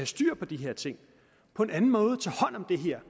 styr på de her ting på en anden måde tage hånd om det her